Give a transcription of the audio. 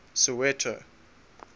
soweto